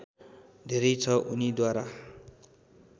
धेरै छ उनीद्वारा